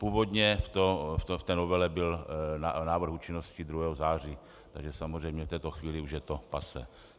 Původně v té novele byl návrh účinnosti 2. září, takže samozřejmě v této chvíli už je to passé.